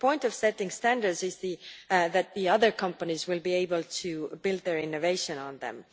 The point of setting standards is that other companies will be able to build their innovations upon them.